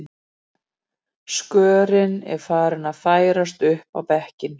Skörin er farin að færast upp á bekkinn